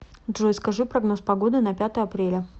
джой скажи прогноз погоды на пятое апреля